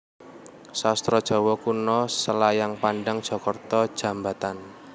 Sastra Jawa Kuno Selayang Pandang Jakarta Djambatan